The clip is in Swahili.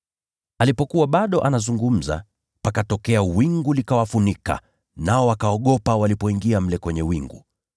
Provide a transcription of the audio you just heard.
Alipokuwa bado anazungumza, pakatokea wingu, likawafunika, nao wakaogopa walipoingia mle kwenye wingu.